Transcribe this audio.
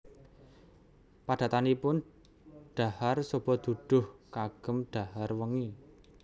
Padatanipun dhahar soba duduh kagem dhahar wengi